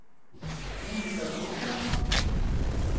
Monica Totland